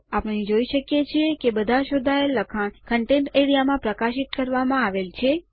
આપણે જોઇ શકીએ છીએ કે બધા શોધાયેલ લખાણ કન્ટેન્ટ્સ એઆરઇએ માં પ્રકાશિત કરવામાં આવેલ છે